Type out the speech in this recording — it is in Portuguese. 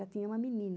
Já tinha uma menina.